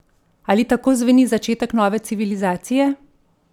Ali tako zveni začetek nove civilizacije?